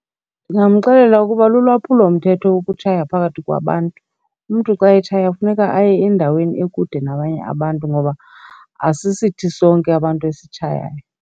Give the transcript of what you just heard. Ndingamxelela ukuba lolwaphulomthetho ukutshaya phakathi kwabantu. Umntu xa etshaya funeka aye endaweni ekude nabanye abantu ngoba asisithi sonke abantu esitshayayo.